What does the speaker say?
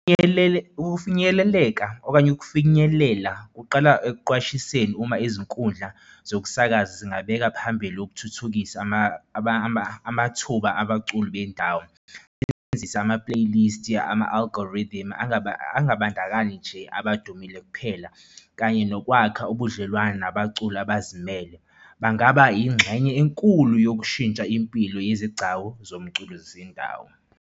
Ukufinyeleleka okanye ukufinyelela kuqala, ekuqwashiseni uma izinkundla zokusakaza zingabeka phambili ukuthuthukisa amathuba abaculi bendawo. Besebenzisa ama-playlist yama-algorithm angabandakanyi nje abadumile kuphela kanye. Kanye nokwakha ubudlelwane nabaculi abazimele bangaba ingxenye enkulu yokushintsha impilo yezigcawu zomculo zezindawo.